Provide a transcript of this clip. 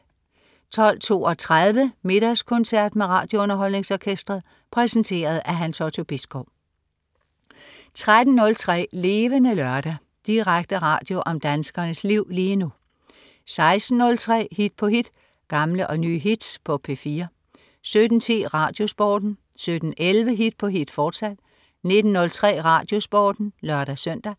12.32 Middagskoncert med RadioUnderholdningsOrkestret. Præsenteret af Hans Otto Bisgaard 13.03 Levende Lørdag. Direkte radio om danskernes liv lige nu 16.03 Hit på hit. Gamle og nye hits på P4 17.10 RadioSporten 17.11 Hit på hit, fortsat 19.03 RadioSporten (lør-søn)